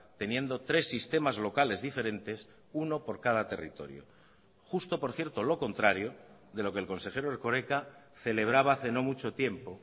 teniendo tres sistemas locales diferentes uno por cada territorio justo por cierto lo contrario de lo que el consejero erkoreka celebraba hace no mucho tiempo